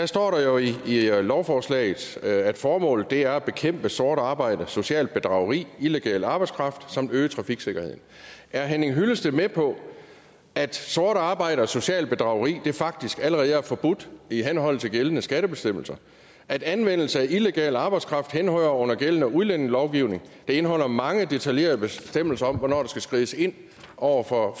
står der jo i lovforslaget at formålet er at bekæmpe sort arbejde socialt bedrageri og illegal arbejdskraft samt at øge trafiksikkerheden er henning hyllested med på at sort arbejde og socialt bedrageri faktisk allerede er forbudt i henhold til gældende skattebestemmelser at anvendelse af illegal arbejdskraft henhører under gældende udlændingelovgivning der indeholder mange detaljerede bestemmelser om hvornår der skal skrides ind over for